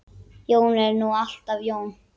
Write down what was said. Jón er nú alltaf Jón.